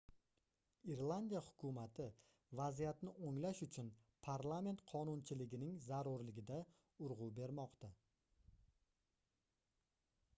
irlandiya hukumati vaziyatni oʻnglash uchun parlament qonunchiligining zarurligida urgʻu bermoqda